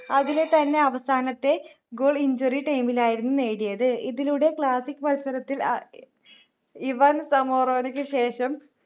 അതിലെത്തന്നെ അവസാനത്തെ goal injury time ലായിരുന്നു നേടിയത് ഇതിലൂടെ classic മത്സരത്തിൽ ഏർ ഇവാൻ സമോറാനോക്ക് ശേഷം